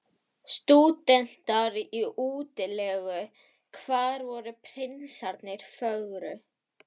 Stúdentar í útilegu: hvar voru prinsarnir fögru?